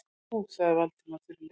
Nú- sagði Valdimar þurrlega.